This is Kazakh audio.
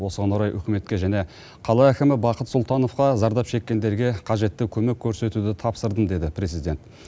осыған орай үкіметке және қала әкімі бақыт сұлтановқа зардап шеккендерге қажетті көмек көрсетуді тапсырдым деді президент